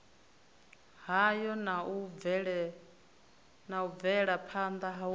hayo na u bvelaphanda hu